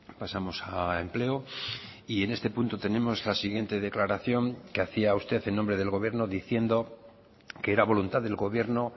pasamos a empleo y en este punto tenemos la siguiente declaración que hacía usted en nombre del gobierno diciendo que era voluntad del gobierno